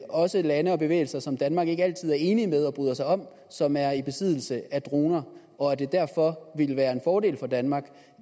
også lande og bevægelser som danmark ikke altid er enig med og bryder sig om som er i besiddelse af droner og at det derfor vil være en fordel for danmark